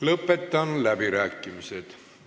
Lõpetan läbirääkimised.